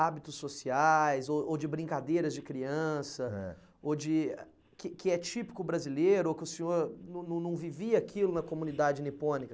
hábitos sociais, ou ou de brincadeiras de criança, eh, ou de, que que é típico brasileiro, ou que o senhor não não vivia aquilo na comunidade nipônica.